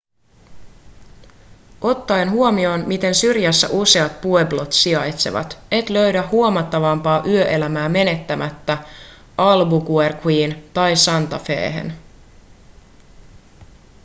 ottaen huomioon miten syrjässä useat pueblot sijaitsevat et löydä huomattavampaa yöelämää menemättä albuquerqueen tai santa fehen